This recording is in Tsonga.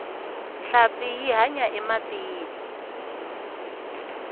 nhlampfi yi hanya ematini